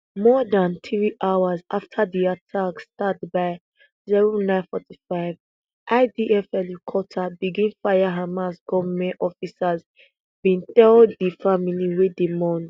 more dan three hours afta di attack start by zero nine forty-five idf helicopter begin fire hamas gunmen officers bin tell di family wey dey mourn